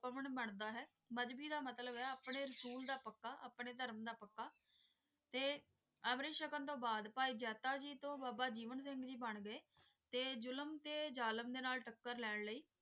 ਪਾਵਾਂ ਬੰਦਾ ਹੈ. ਮਜ਼੍ਹਬੀ ਦਾ ਮਤਲਬ ਹੈ ਆਪਣੇ ਅਸੂਲ ਦਾ ਪੱਕਾ ਆਪਣੇ ਧਰਮ ਦਾ ਪੱਕਾ ਤੇ ਅਵਰੇ ਸ਼ਗਨ ਦੇ ਬਾਅਦ ਭਾਈ ਜਾਤਾ ਜੀ ਤੋਂ ਬਾਬਾ ਜੀਵਨ ਸਿੰਘ ਜੀ ਬਣ ਗਏ ਤੇ ਜ਼ੁਲਮ ਦੇ ਜ਼ਾਲਿਮ ਦੇ ਨਾਲ ਟੱਕਰ ਲੈਣ ਲਈ